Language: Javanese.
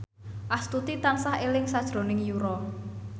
Astuti tansah eling sakjroning Yura